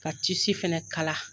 Ka tisi fɛnɛ kala.